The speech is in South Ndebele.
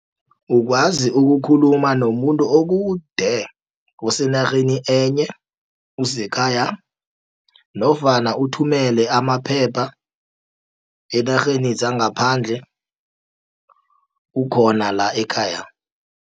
Ukwazi ukukhuluma nomuntu okude osenarheni enye usekhaya, nofana uthumele amaphepha eenarheni zangaphandle ukhona la ekhaya.